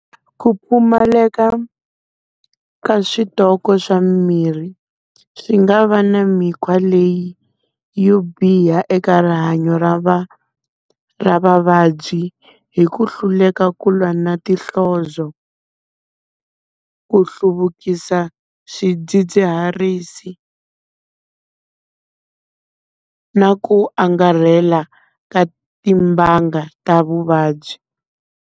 Ku pfumaleka ka switoko swa mimirhi swi nga va na mikhwa leyi yo biha eka rihanyo ra va ra vavabyi, hi ku hluleka ku lwa na tinhlozo. Ku hluvukisa swidzidziharisi na ku angarhela ka timbanga ta vuvabyi.